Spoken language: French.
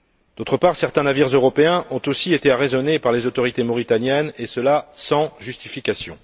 D'autre part, certains navires européens ont aussi été arraisonnés par les autorités mauritaniennes, et cela sans justification.